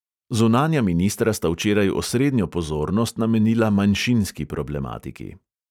Zunanja ministra sta včeraj osrednjo pozornost namenila manjšinski problematiki.